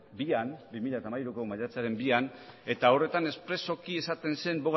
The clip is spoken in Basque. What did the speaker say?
bian bi mila hamairuko maiatzaren bian eta horretan espresuki esaten zen